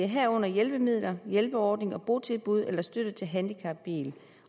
herunder hjælpemidler hjælperordning botilbud eller støtte til handicapbil